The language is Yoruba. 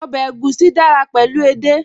Ọbẹ̀ egusi dára pẹ̀lú edé